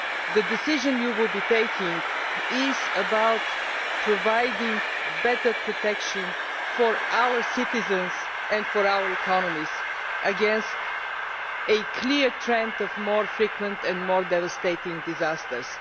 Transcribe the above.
The decision you will be taking is about providing better protection for our citizens and for our economies against a clear trend of more frequent and more devastating disasters.